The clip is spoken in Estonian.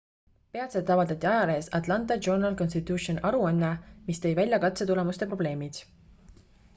peatselt avaldati ajalehes atlanta journal-constitution aruanne mis tõi välja katse tulemuste probleemid